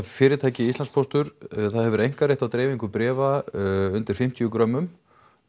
fyrirtæki Íslandspóstur það hefur einkarétt á dreifingu bréfa undir fimmtíu grömmum